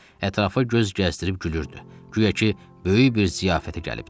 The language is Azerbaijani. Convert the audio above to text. Ətrafa göz gəzdirib gülürdü, guya ki, böyük bir ziyafətə gəlibdir.